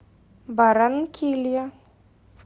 барранкилья